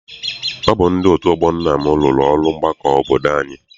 Ọ bụ ndị otu ọgbọ nna m rụrụ ụlọ ọgbakọ obodo anyị.